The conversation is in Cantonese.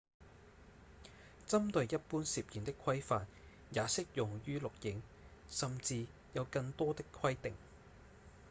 針對一般攝影的規範也適用於錄影甚至有更多的規定